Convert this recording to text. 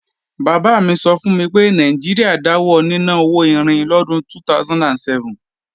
Bàbá mi sọ fún mi pé Nàìjíríà dáwọ níná owó irin lọ́dún 2007